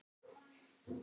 Glasið í annarri hendi.